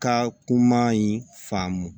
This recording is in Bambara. Ka kuma in faamu